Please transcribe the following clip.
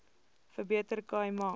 verbeter khai ma